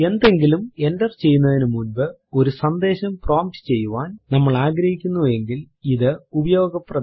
എന്തെങ്കിലും എന്റർ ചെയ്യുന്നതിന് മുൻപ് ഒരു സന്ദേശം പ്രോംപ്റ്റ് ചെയ്യാൻ നമ്മൾ ആഗ്രഹിക്കുന്നു എങ്കിൽ ഇത് ഉപയോഗപ്രദമാണ്